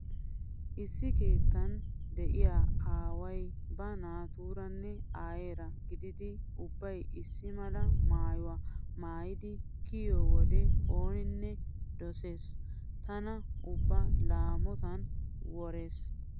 Issi keettan diya aaway ba naatuuranne aayeera gididi ubbay issi mala maayuwa maayidi kiyiyo wode ooninne dosees. Tana ubba laamotan worees.